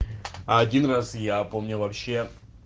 один раз я помню вообще